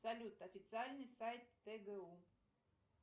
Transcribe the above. салют официальный сайт тгу